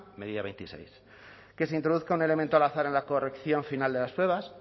medida veintiséis que se introduzca un elemento al azar en la corrección final de las pruebas